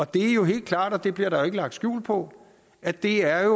det er jo helt klart og det bliver der ikke lagt skjul på at det er